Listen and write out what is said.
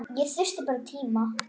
Ég þyrfti tíma.